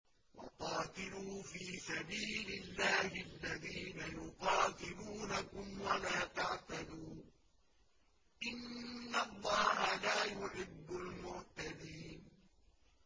وَقَاتِلُوا فِي سَبِيلِ اللَّهِ الَّذِينَ يُقَاتِلُونَكُمْ وَلَا تَعْتَدُوا ۚ إِنَّ اللَّهَ لَا يُحِبُّ الْمُعْتَدِينَ